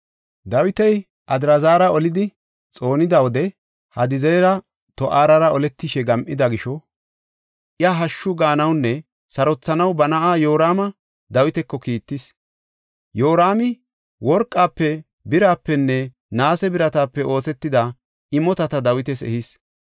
Dawiti Adraazara olidi xoonida wode Hadadizeri To7ara oletishe gam7ida gisho iya hashshu gaanawunne sarothanaw ba na7aa Yoraama Dawitako kiittis. Yoraami worqafe, birapenne naase biratape oosetida imotata Dawitas ehis.